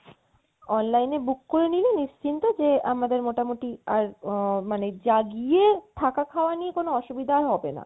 online এ book করে নিলে নিশ্চিন্ত যে আমাদের মোটামোটি আর মানে যা গিয়ে থাকা খাওয়া নিয়ে কোনো অসুবিধা হবে না